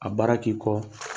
A baara k'i kɔ